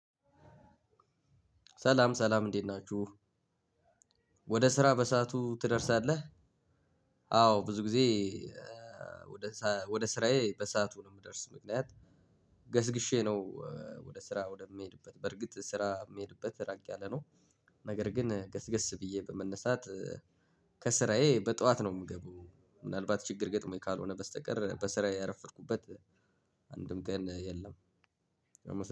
ሰላም ሰላም እንዴት ናችሁ? ወደ ስራ በሰአቱ ትደርሳለህ? አዎ ብዙ ጊዜ ወደ ስራዬ በሰአቱ ነው ምደርስ ምክንያት ገስግሼ ነው። ወደ ስራ ወደምሄድበት በርግጥ ስራ ምሄድበት ራቅ ያለ ነው። ነገር ግን ገስገስ ብዬ በመነሳት ከስራዬ በጠዋት ነው ምገባው ምናልባት ችግር ገጥሞኝ ካልሆነ በስተቀር በስራዬ ያረፈድኩበት። አንድም ቀን የለም።